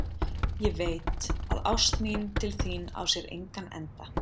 Ég veit, að ást mín til þín á sér engan enda.